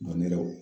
Dɔn yɛrɛ wo